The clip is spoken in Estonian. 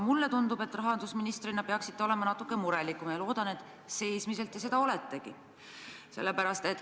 Mulle tundub, et rahandusministrina peaksite olema natuke murelikum, ja loodan, et sisimas te seda oletegi.